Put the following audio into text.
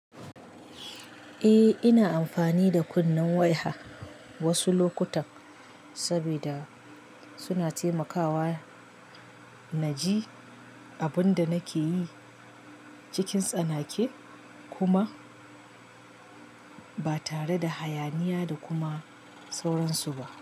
Eh, ina amfani da kunnen waya wasu lokuta saboda suna taimakawa na ji abin da nake yi cikin tsanake kuma ba tare da hayaniya da kuma sauransu ba.